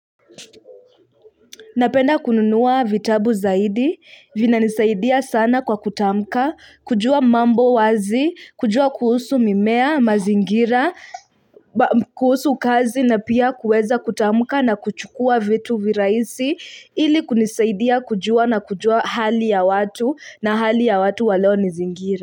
Napenda kununuwa vitabu zaidi, vinanisaidia sana kwa kutamka, kujua mambo wazi, kujua kuhusu mimea, mazingira, kuhusu kazi na pia kueza kutamka na kuchukua vitu viraisi, ili kunisaidia kujua na kujua hali ya watu, na hali ya watu waleo nizingira.